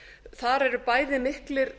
þar eru bæði miklir